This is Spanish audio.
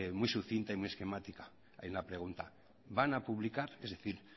muy sucinta y muy esquemática de ahí la pregunta van a publicar es decir